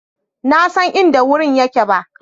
na San inda wurin yake ba.